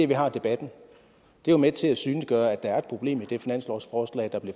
vi har debatten er med til at synliggøre at der er et problem i det finanslovsforslag der er